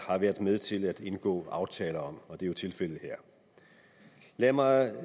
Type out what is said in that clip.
har været med til at indgå aftale om og det er jo tilfældet her lad mig